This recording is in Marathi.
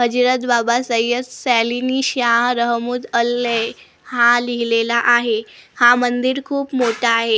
हजिरत बाबा सय्यद सा लिनी शहा रहमूद अल्ले हा लिहिलेला आहे हा मंदिर खूप मोठा आहे त्या--